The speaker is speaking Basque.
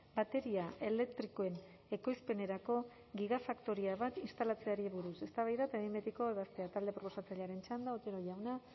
bateria elektrikoen ekoizpenerako gigafaktoria bat instalatzeari buruz eztabaida eta behin betiko ebazpena talde proposatzailearen txanda otero jauna